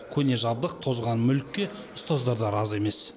көне жабдық тозған мүлікке ұстаздар да разы емес